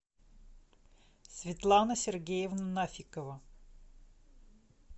светлана сергеевна нафикова